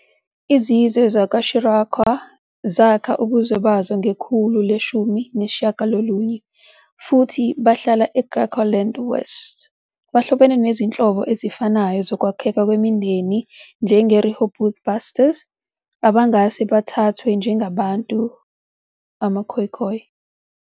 Izizwe zakwa-Xirikua, Griqua, zakha ubuzwe bazo ngekhulu le-19 futhi bahlala eGriqualand West. Bahlobene nezinhlobo ezifanayo zokwakheka kwemindeni njengeRehoboth Basters, abangase bathathwe njengabantu "amaKhoekhoe".